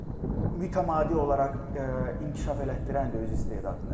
Mütəmadi olaraq inkişaf elətdirəndir öz istedadını.